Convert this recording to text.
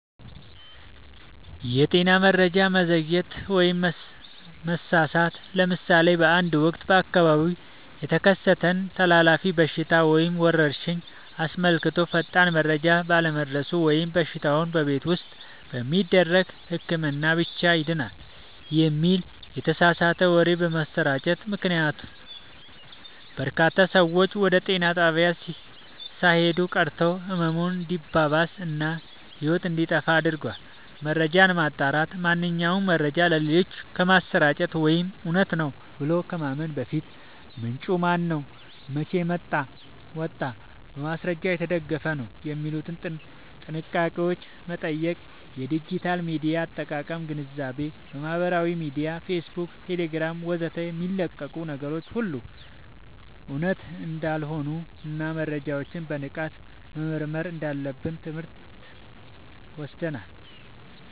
የጤና መረጃ መዘግየት/መሳሳት፦ ለምሳሌ በአንድ ወቅት በአካባቢው የተከሰተን ተላላፊ በሽታ ወይም ወረርሽኝ አስመልክቶ ፈጣን መረጃ ባለመድረሱ ወይም በሽታው "በቤት ውስጥ በሚደረግ ህክምና ብቻ ይድናል" የሚል የተሳሳተ ወሬ በመሰራጨቱ ምክንያት፣ በርካታ ሰዎች ወደ ጤና ጣቢያ ሳይሄዱ ቀርተው ህመሙ እንዲባባስ እና ህይወት እንዲጠፋ አድርጓል። መረጃን ማጣራት፦ ማንኛውንም መረጃ ለሌሎች ከማሰራጨት ወይም እውነት ነው ብሎ ከማመን በፊት፣ "ምንጩ ማነው? መቼ ወጣ? በማስረጃ የተደገፈ ነው?" የሚሉትን ጥያቄዎች መጠየቅ። የዲጂታል ሚዲያ አጠቃቀም ግንዛቤ፦ በማህበራዊ ሚዲያ (ፌስቡክ፣ ቴሌግራም ወዘተ) የሚለቀቁ ነገሮች ሁሉ እውነት እንዳልሆኑና መረጃዎችን በንቃት መመርመር እንዳለብን ትምህርት ወስደናል።